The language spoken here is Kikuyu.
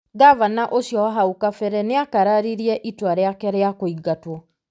Ngavana ũcio wa hau kabere nĩ akararirie itua rĩake rĩa kũingatwo,